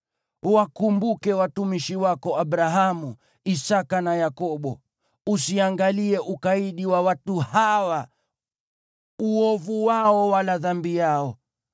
Wakumbuke watumishi wako Abrahamu, Isaki na Yakobo. Usiangalie ukaidi wa watu hawa, uovu wao wala dhambi yao.